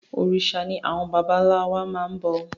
Òrìṣà ni àwọn bàbà ńlá wa máa ń bọ